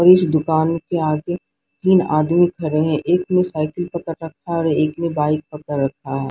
और इस दुकान के आगे तीन आदमी खड़े हैं एक ने साइकिल पकड़ रखा है और एक ने बाइक पकड़ रखा है।